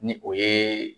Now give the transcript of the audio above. Ni o ye